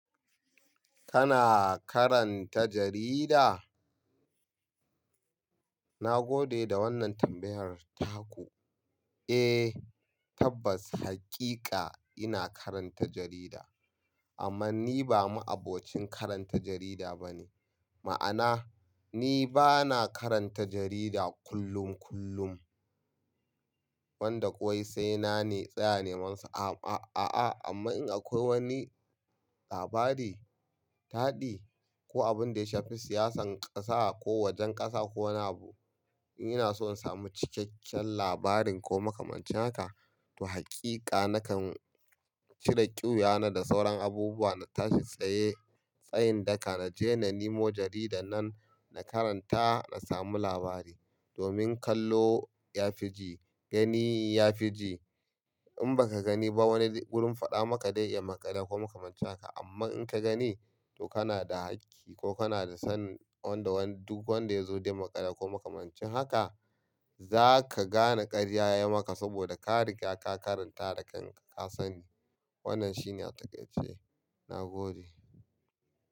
Kana karanta jarida? Na gode da wannan tambayar taku. Eh, tabbas hakika ina karanta jarida amma ni ba ma'abocin karanta jarida bane. Ma'ana, ni ba na karanta jarida kullum kullum. Wanda kawai sai na ne tsaya ne masa. A-a-a amma in akwai wani labari, taɗi ko abin da ya shafi siyasan ƙasa ko wajen ƙasa ko wani abu, in ina so in samu cikakken labarin ko makamancin haka, to hakika nakan cire ƙyuya na da sauran abubuwa na tashi tsaye tsayin daka na je na nemo jarida nan na karanta na samu labari. Domin kallo ya fi ji, gani ya fi ji. In baka gani ba wani gurin faɗa maka dai ya maƙale ko makamanci haka amma in ka gani to kana da hakki ko kana da son wanda duk wanda ya zo dai maƙale ko makamanci haka za ka gane ƙarya ya maka saboda ka riga ka karanta da kanka ka sani. Wannan shine a take ce. Na gode.